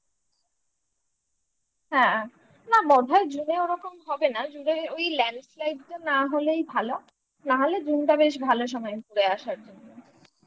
হ্যাঁ না বোধায় zone এ ওরকম হবে না zone এ ওই land না হলেই ভালো নাহলে June টা বেশ ভালো সময় ঘুরে আসার জন্য